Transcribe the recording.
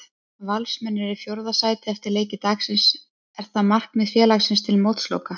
Valsmenn eru í fjórða sæti eftir leiki dagsins, er það markmið félagsins til mótsloka?